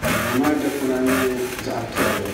ka duu maa dikpuna nyɛ zaɣ' piɛlli